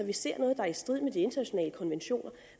vi ser noget der er i strid med de internationale konventioner